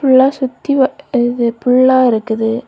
ஃபுல்லா சுத்தி இது புல்லா இருக்குது.